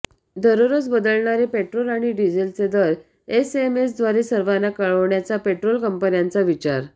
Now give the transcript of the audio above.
दररोज बदलणारे पेट्रोल आणि डिझेलचे दर एसएमएस द्वारे सर्वांना कळवण्याचा पेट्रोल कंपन्यांचा विचार